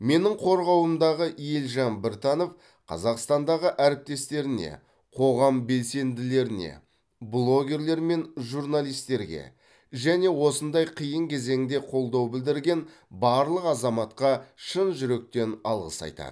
менің қорғауымдағы елжан біртанов қазақстандағы әріптестеріне қоғам белсенділеріне блогерлер мен журналистерге және осындай қиын кезеңде қолдау білдірген барлық азаматқа шын жүректен алғыс айтады